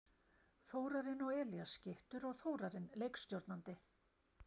Þorbjörn og Elías skyttur og Þórarinn leikstjórnandi!